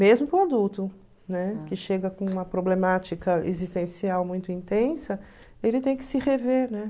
Mesmo com adulto, né, que chega com uma problemática existencial muito intensa, ele tem que se rever, né?